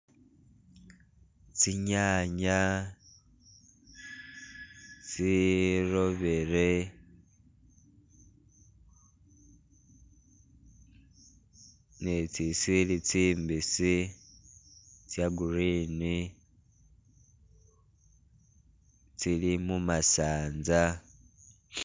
Tsinyanya itsirobere ne itsisili tsimbisi tse green tsili mumasanza